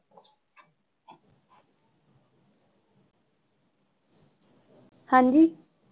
ਹਾਂਜੀ।